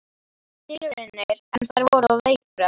Ég gerði tilraunir en þær voru veikburða.